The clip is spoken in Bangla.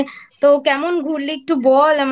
তো কেমন ঘুরলি একটু বল